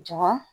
Jɔn